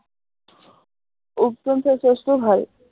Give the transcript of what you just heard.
উপটান face wash টোও ভাল